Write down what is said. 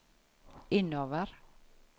innover